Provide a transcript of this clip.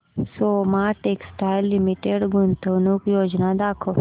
Soma textile limited गुंतवणूक योजना दाखव